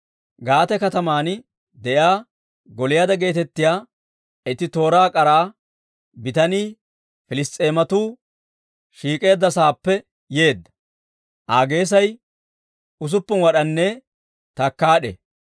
Gaate kataman de'iyaa, Gooliyaada geetettiyaa itti tooraa k'ara bitanii Piliss's'eematuu shiik'eedda sa'aappe yeedda; Aa geesay usuppun wad'anne takkaad'e.